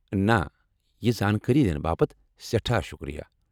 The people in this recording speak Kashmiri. نہ، یہ زانکٲری دنہٕ باپت سیٹھاہ شٗکریہ۔